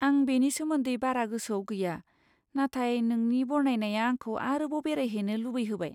आं बेनि सोमोन्दै बारा गोसोआव गैया, नाथाय नोंनि बरनायनाया आंखौ आरोबाव बेरायहैनो लुबैहोबाय।